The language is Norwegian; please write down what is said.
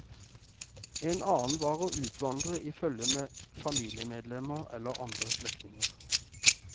En annen var å utvandre i følge med familiemedlemmer eller andre slektninger.